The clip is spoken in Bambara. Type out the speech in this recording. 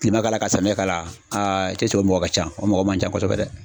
Kilema k'ala ka samiya k'alaya aa cɛ esike o mɔgɔ ka ca o mɔgɔ man ca kosɛbɛ dɛ